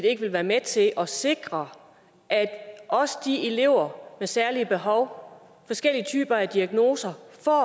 ikke vil være med til at sikre at også de elever med særlige behov og forskellige typer af diagnoser